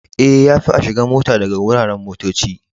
Eh, ya fi a shiga mota daga wuraren motocci.